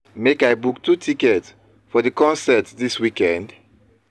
Make I book two tickets for di concert dis weekend?